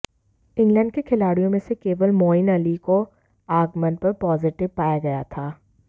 England के खिलाड़ियों में से केवल मोईन अली को आगमन पर पॉजिटिव पाया गया था